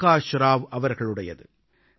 Prakash Rao அவர்களுடையது